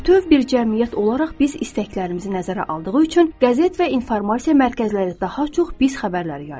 Bütöv bir cəmiyyət olaraq biz istəklərimizi nəzərə aldığı üçün qəzet və informasiya mərkəzləri daha çox biz xəbərləri yayır.